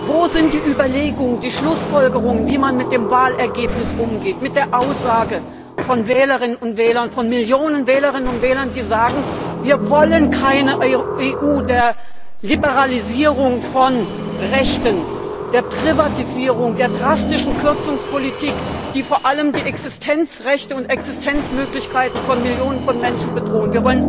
Wo sind die Überlegungen, die Schlussfolgerungen, wie man mit dem Wahlergebnis umgeht, mit der Aussage von Millionen von Wählerinnen und Wählern, die sagen Wir wollen keine EU der Liberalisierung von Rechten, der Privatisierung, der drastischen Kürzungspolitik, die vor allem die Existenzrechte und Existenzmöglichkeiten von Millionen von Menschen bedrohen.